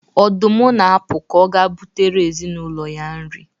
Ọdụm na-apụ ka ọ gaa butere ezinụlọ ya nri.